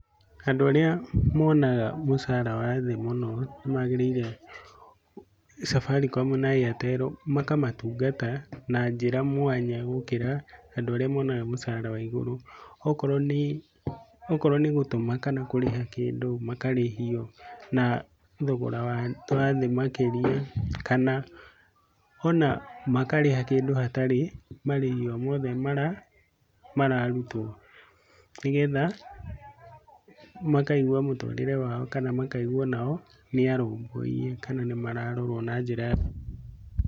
Andũ arĩa monaga mũcara wa thĩ mũno, nĩmagĩrĩire Safaricom na Airtel makamatungata na njĩra mwanya gũkĩra andũ arĩa monaga mũcara wa igũrũ, okorwo nĩ okorwo gũtũma kana kũrĩha kĩndũ, makarĩhio na thogora wa thĩ makĩria kana ona makarĩha kĩndũ hatarĩ marĩhi omothe mara mararutwo nĩgetha makaigua mũtũrĩre wao kana makaigua onao nĩarũmbũiye kana nĩ mararorwo na njĩra njega.